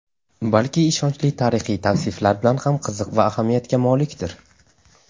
balki ishonchli tarixiy tavsiflar bilan ham qiziq va ahamiyatga molikdir.